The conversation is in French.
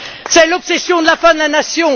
C'est l'obsession de la fin de la nation.